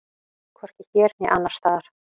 Hvorki hér né annars staðar.